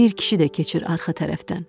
Bir kişi də keçir arxa tərəfdən.